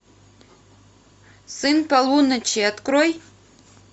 сын полуночи открой